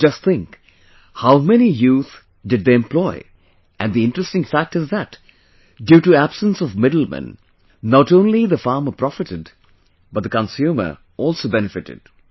You just think, how many youth did they employed, and the interesting fact is that, due to absence of middlemen, not only the farmer profited but the consumer also benefited